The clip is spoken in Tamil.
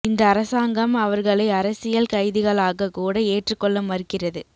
இந்த அரசாங்கம் அவர்களை அரசியல் கைதிகளாக கூட ஏற்று கொள்ள மறுக்கிறது